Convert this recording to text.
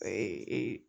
A ye e